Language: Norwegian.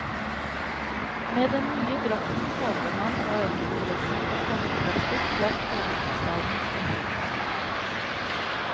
Med den nye drakten håper man å øke interessen for folkedrakter blant hovedstadens innbyggere.